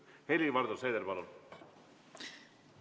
Helir-Valdor Seeder, palun!